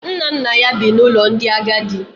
Nna nna ya bi n’ụlọ ndị agadi